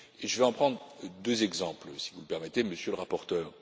Je vais prendre deux exemples, si vous le permettez, Monsieur le rapporteur.